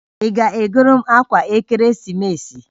Ị ga-egoro m akwa ekeresimesi?